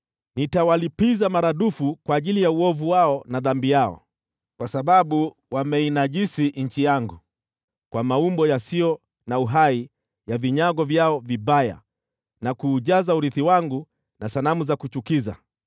Nitawalipiza maradufu kwa ajili ya uovu wao na dhambi yao, kwa sababu wameinajisi nchi yangu kwa maumbo yasiyo na uhai ya vinyago vyao vibaya, na kuujaza urithi wangu na sanamu za kuchukiza.”